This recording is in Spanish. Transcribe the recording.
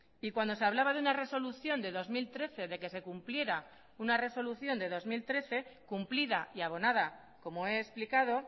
y cuando se hablaba de una resolución de dos mil trece de que se cumpliera una resolución de dos mil trece cumplida y abonada como he explicado